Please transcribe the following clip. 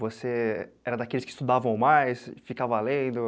Você era daqueles que estudavam mais, ficava lendo?